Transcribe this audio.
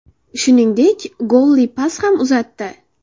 Shuningdek, golli pas ham uzatdi.